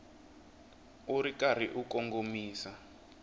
u ri karhi u kongomisa